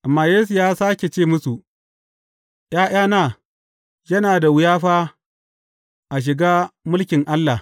Amma Yesu ya sāke ce musu, ’Ya’yana, yana da wuya fa a shiga mulkin Allah!